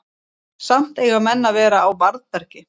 samt eiga menn að vera á varðbergi